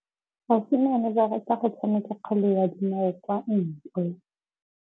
Basimane ba rata go tshameka kgwele ya dinaô kwa ntle.